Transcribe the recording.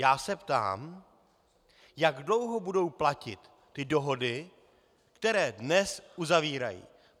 Já se ptám, jak dlouho budou platit ty dohody, které dnes uzavírají.